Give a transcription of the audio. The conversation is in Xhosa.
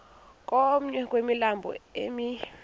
komnye wemilambo emi